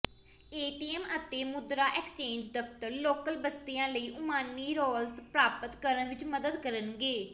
ATM ਅਤੇ ਮੁਦਰਾ exchange ਦਫ਼ਤਰ ਲੋਕਲ ਬਸਤੀਆਂ ਲਈ ਓਮਾਨੀ ਰਾਲਸ ਪ੍ਰਾਪਤ ਕਰਨ ਵਿੱਚ ਮਦਦ ਕਰਨਗੇ